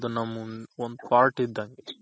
ಒಂದ್ part ಇದ್ದಂಗೆ